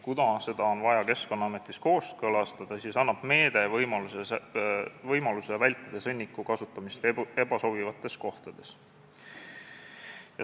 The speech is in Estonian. Kuna seda on vaja Keskkonnaametis kooskõlastada, siis annab meede võimaluse vältida sõnniku kasutamist ebasobivates kohtades.